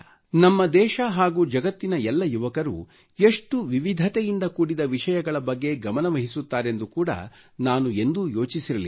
ನಮ್ಮ ದೇಶ ಹಾಗೂ ಜಗತ್ತಿನ ಎಲ್ಲ ಯುವಕರು ಎಷ್ಟು ವಿವಿಧತೆಯಿಂದ ಕೂಡಿದ ವಿಷಯಗಳ ಬಗ್ಗೆ ಗಮನವಹಿಸತ್ತಾರೆಂದು ಕೂಡಾ ನಾನು ಎಂದೂ ಯೋಚಿಸಿರಲಿಲ್ಲ